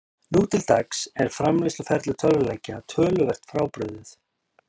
Nú til dags er framleiðsluferli tölvuleikja töluvert frábrugðið.